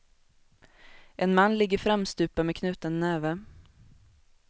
En man ligger framstupa med knuten näve.